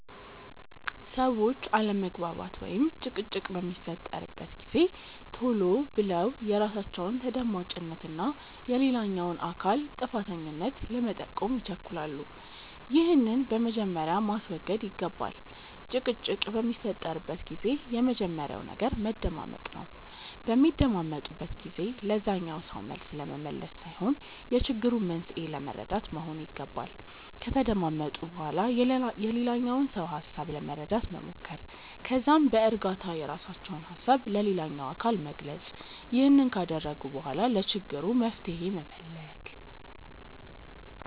ሰዎች አለመግባባት ወይም ጭቅጭቅ በሚፈጠርበት ጊዜ ቶሎ ብለው የራሳቸውን ተደማጭነት እና የሌላኛውን አካል ጥፋተኛነት ለመጠቆም ይቸኩላሉ። ይህንን በመጀመሪያ ማስወገድ ይገባል። ጭቅጭቅ በሚፈጠርበት ጊዜ የመጀመሪያው ነገር መደማመጥ ነው። በሚደማመጡበት ጊዜ ለዛኛው ሰው መልስ ለመመለስ ሳይሆን የችግሩን መንስኤ ለመረዳት መሆን ይገባል። ከተደማመጡ በኋላ የሌላኛውን ሰው ሀሳብ ለመረዳት መሞከር። ከዛም በእርጋታ የራሳቸውን ሀሳብ ለሌላኛው አካል መግለጽ። ይህንን ካደረጉ በኋላ ለችግሩ መፍትሄ መፈለግ።